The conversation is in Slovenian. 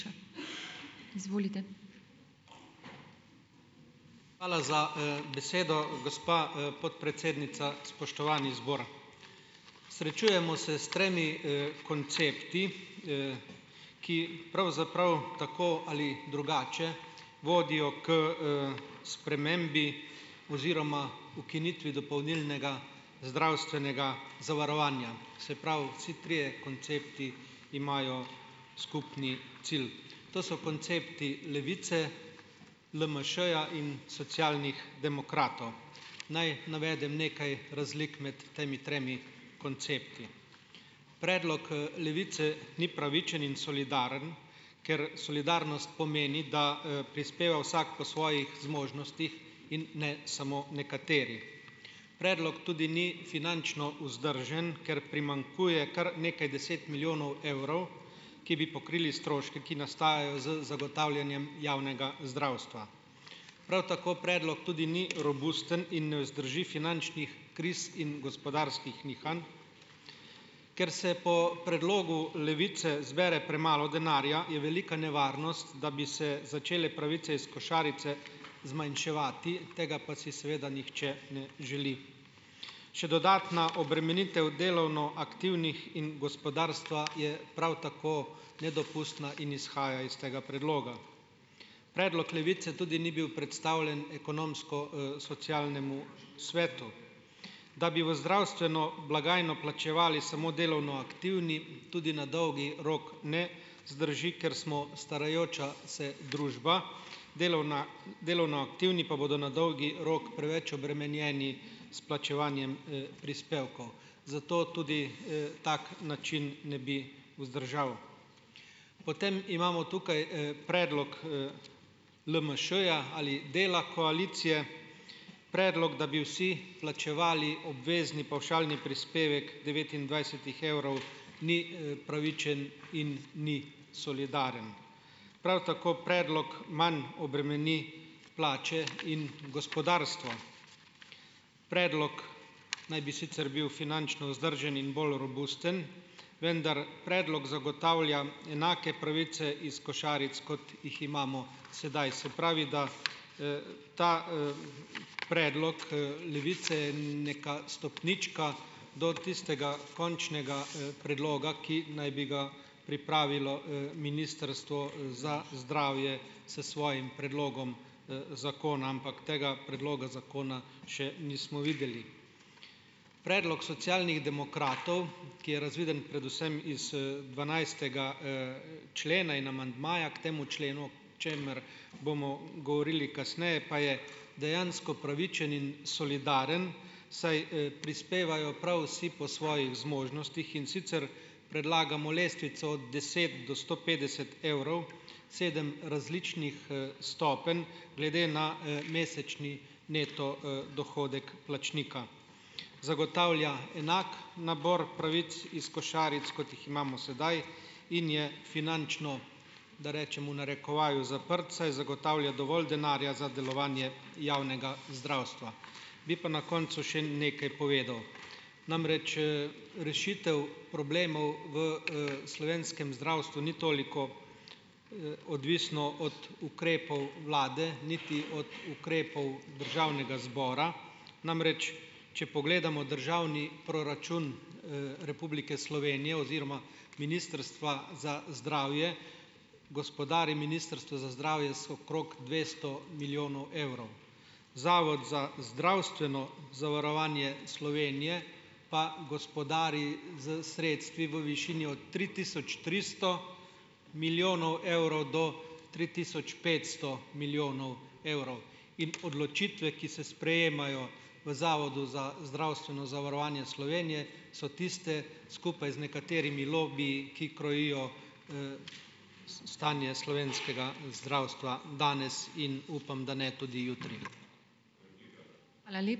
Hvala za, besedo, gospa, podpredsednica. Spoštovani zbor. Srečujemo se s tremi, koncepti, ki pravzaprav tako ali drugače vodijo k, spremembi oziroma ukinitvi dopolnilnega zdravstvenega zavarovanja, se pravi vsi trije koncepti imajo skupni cilj. To so koncepti Levice, LMŠ-ja in Socialnih demokratov. Naj navedem nekaj razlik med temi tremi koncepti. Predlog, Levice ni pravičen in solidaren, ker solidarnost pomeni, da, prispeva vsak po svojih zmožnostih in ne samo nekateri. Predlog tudi ni finančno vzdržen, ker primanjkuje kar nekaj deset milijonov evrov, ki bi pokrili stroške, ki nastajajo z zagotavljanjem javnega zdravstva. Prav tako predlog tudi ni robusten in ne vzdrži finančnih kriz in gospodarskih nihanj. Ker se po predlogu Levice zbere premalo denarja, je velika nevarnost, da bi se začele pravice iz košarice zmanjševati, tega pa si seveda nihče ne želi. Še dodatna obremenitev delovno aktivnih in gospodarstva je prav tako nedopustna in izhaja iz tega predloga. Predlog Levice tudi ni bil predstavljen Ekonomsko-, socialnemu svetu. Da bi v zdravstveno blagajno plačevali samo delovno aktivni, tudi na dolgi rok ne zdrži, ker smo starajoča se družba, delovna delovno aktivni pa bodo na dolgi rok preveč obremenjeni s plačevanjem, prispevkov. Zato tudi, tak način ne bi vzdržal. Potem imamo tukaj, predlog, LMŠ-ja ali dela koalicije. Predlog, da bi vsi plačevali obvezni pavšalni prispevek devetindvajsetih evrov ni, pravičen in ni solidaren. Prav tako predlog manj obremeni plače in gospodarstvo. Predlok naj bi sicer bil finančno vzdržen in bolj robusten, vendar predlog zagotavlja enake pravice iz košaric, kot jih imamo sedaj. Se pravi, da, ta, predlog, Levice neka stopnička do tistega končnega, predloga, ki naj bi ga pripravilo, Ministrstvo za zdravje s svojim predlogom, zakona, ampak tega predloga zakona še nismo videli. Predlok Socialnih demokratov, ki je razviden predvsem iz, dvanajstega, člena in amandmaja k temu členu, čemer bomo govorili kasneje, pa je dejansko pravičen in solidaren, saj, prispevajo prav vsi po svojih zmožnostih, in sicer predlagamo lestvico od deset do sto petdeset evrov, sedem različnih, stopenj glede na, mesečni neto, dohodek plačnika. Zagotavlja enak nabor pravic iz košaric, kot jih imamo sedaj, in je finančno, da rečem v narekovaju, zaprt, saj zagotavlja dovolj denarja za delovanje javnega zdravstva. Bi pa na koncu še nekaj povedal, namreč, rešitev problemov v, slovenskem zdravstvu ni toliko, odvisna od ukrepov vlade niti od ukrepov državnega zbora. Namreč, če pogledamo državni proračun, Republike Slovenije oziroma Ministrstva za zdravje, gospodari Ministrstvo za zdravje z okrog dvesto milijonov evrov. Zavod za zdravstveno zavarovanje Slovenije pa gospodari s sredstvi v višini od tri tisoč tristo milijonov evrov do tri tisoč petsto milijonov evrov. In odločitve, ki se sprejemajo v Zavodu za zdravstveno zavarovanje Slovenije, so tiste, skupaj z nekaterimi lobiji, ki krojijo, stanje slovenskega zdravstva danes in upam, da ne tudi jutri.